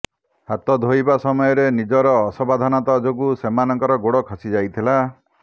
ହାତ ଧୋଇବା ସମୟରେ ନିଜର ଅସାବଧାନତା ଯୋଗୁଁ ସେମାନଙ୍କର ଗୋଡ଼ ଖସି ଯାଇଥିଲା